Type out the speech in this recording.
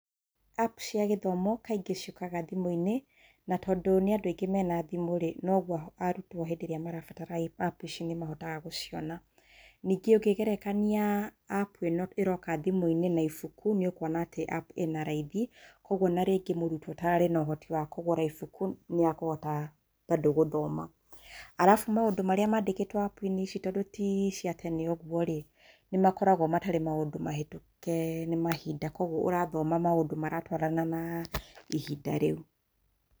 Apu cĩa gĩthomo kaingĩ ciũkaga thimũ-inĩ, na tondũ nĩ andũ aingĩ mena thimũ-rĩ, no guo arutwo hĩndĩ ĩrĩa marabatara apu ci nĩ mahotaga gũciona. Ningĩ ũngĩgerekania apu ĩno ĩroka thimũ-inĩ na ibuku nĩ ũkwona apu atĩ ĩnaraithĩ, kwoguo ona mũrutwo ũtararĩ na ũhoti wa kũgũra ibuku nĩekũhota mbandũ gũthoma. Arabu maũndũ marĩa mandĩkĩtwo apu ici tondũ ti ciatene ũguo-rĩ, nĩ makoragwo matarĩ maũndũ mahetũke nĩ mahinda, kwoguo ũrathoma maũndũ maratwarana na ihinda rĩu.